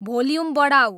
volume बढाऊ